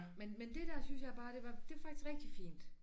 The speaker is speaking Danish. Men men det der synes jeg bare det var det var faktisk rigtig fint